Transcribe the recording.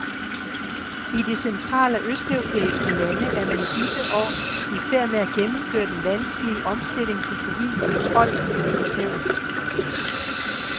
I de central- og østeuropæiske lande er man i disse år i færd med at gennemføre den vanskelige omstilling til civil kontrol med militæret.